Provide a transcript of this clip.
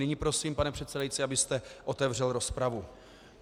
Nyní prosím, pane předsedající, abyste otevřel rozpravu.